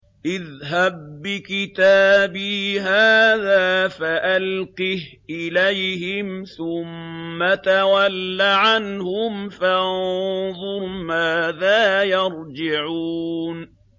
اذْهَب بِّكِتَابِي هَٰذَا فَأَلْقِهْ إِلَيْهِمْ ثُمَّ تَوَلَّ عَنْهُمْ فَانظُرْ مَاذَا يَرْجِعُونَ